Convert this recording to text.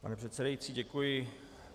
Pane předsedající, děkuji.